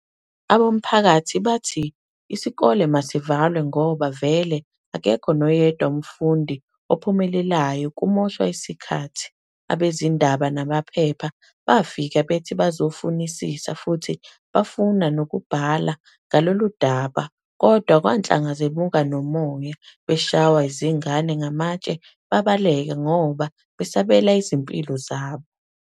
Abomphakathi bathi isikole masivalwe ngoba vele akekho noyedwa umfundi ophumeleleyo kumoshwa isikhathi. Abezindaba namaphepha bafika bethi bazofunisisafuthibafunda ukubhala ngaloludaba kodwa kwanhlanga zemuka nomoya beshaywa izingane ngamatshe babaleka ngoba babesabela izimpilo zabo.